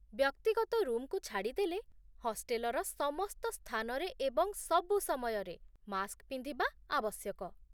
ବ୍ୟକ୍ତିଗତ ରୁମ୍‌କୁ ଛାଡ଼ିଦେଲେ, ହଷ୍ଟେଲର ସମସ୍ତ ସ୍ଥାନରେ ଏବଂ ସବୁ ସମୟରେ ମାସ୍କ ପିନ୍ଧିବା ଆବଶ୍ୟକ